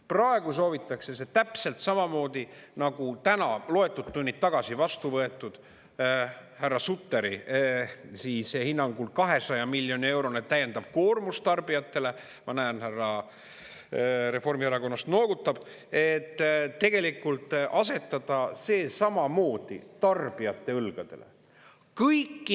" Praegu soovitakse see täpselt samamoodi nagu täna loetud tunnid tagasi vastu võetud härra Sutteri hinnangul 200 miljoni eurone täiendav koormus tarbijatele – ma näen, härra Reformierakonnast noogutab –, et tegelikult asetada see samamoodi tarbijate õlgadele.